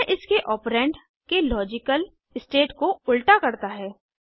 यह इसके ओपरेंड के लॉजिकल स्टेट को उल्टा करता है